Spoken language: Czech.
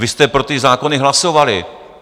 Vy jste pro ty zákony hlasovali.